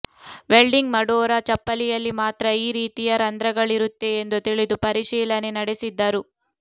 welding ಮಾಡೋರ ಚಪ್ಪಲಿಯಲ್ಲಿ ಮಾತ್ರ ಈ ರೀತಿಯ ರಂಧ್ರಗಳಿರುತ್ತೆ ಎಂದು ತಿಳಿದು ಪರಿಶೀಲನೆ ನಡೆಸಿದ್ದರು